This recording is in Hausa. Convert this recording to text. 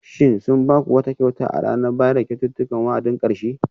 Shin sun ba ku wata kyauta a ranar bayar da kyaututtukan wa'adin karshe?